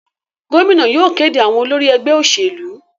Gómìnà yóò kéde àwọn olórí ẹgbẹ́ òṣèlú.